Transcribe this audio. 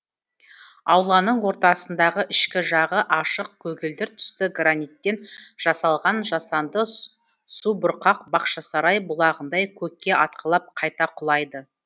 ауланың ортасындағы ішкі жағы ашық көгілдір түсті граниттен жасалған жасанды субұрқақ бақшасарай бұлағындай көкке атқылап қайта құлайды